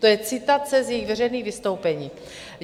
To je citace z jejich veřejných vystoupení.